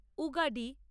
Ugadi